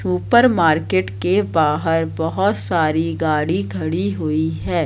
ऊपर मार्केट के बाहर बहोत सारी गाड़ी खड़ी हुई है।